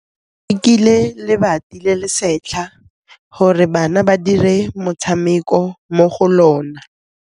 Ba rekile lebati le le setlha gore bana ba dire motshameko mo go lona.